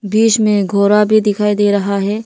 दृश्य में घोरा भी दिखाई दे रहा है।